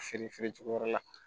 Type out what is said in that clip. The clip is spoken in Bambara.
Feere feere cogo yɔrɔ la